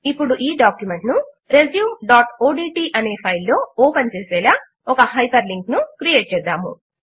ఇప్పుడు ఈ డాక్యుమెంట్ ను resumeఓడ్ట్ అనే ఫైల్ లో ఓపెన్ చేసేలా ఒక హైపర్ లింక్ ను క్రియేట్ చేద్దాము